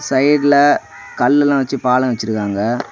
சைடுல கல் எல்லாம் வச்சு பாலம் வச்சிருக்காங்க.